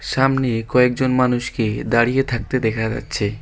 সামনে কয়েকজন মানুষকে দাঁড়িয়ে থাকতে দেখা যাচ্ছে।